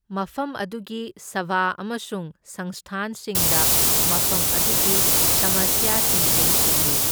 ꯃꯐꯝ ꯑꯗꯨꯒꯤ ꯁꯚꯥ ꯑꯃꯁꯨꯡ ꯁꯪꯁꯊꯥꯟꯁꯤꯡꯅ ꯃꯐꯝ ꯑꯗꯨꯒꯤ ꯁꯃꯁ꯭ꯌꯥꯁꯤꯡ ꯌꯦꯡꯁꯤꯟꯂꯤ꯫